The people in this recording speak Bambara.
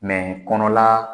kɔnɔla